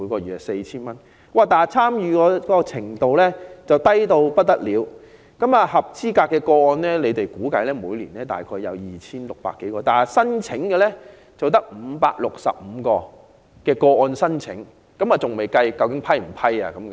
然而，此計劃的參與程度相當低，據當局估計，合資格個案每年約有 2,600 多宗，但提出申請的個案只有565宗，實際獲批的個案當然更少。